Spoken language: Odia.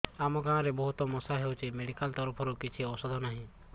ଆମ ଗାଁ ରେ ବହୁତ ମଶା ହଉଚି ମେଡିକାଲ ତରଫରୁ କିଛି ଔଷଧ ନାହିଁ